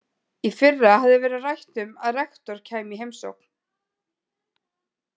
Í fyrra hafði verið rætt um að rektor kæmi í heimsókn.